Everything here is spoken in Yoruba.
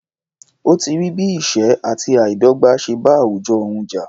Ó ti rí bí ìṣẹ́ àti àìdọ́gbà ṣe bá àwùjọ òun jà.